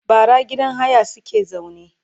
bara gidan haya suke zaune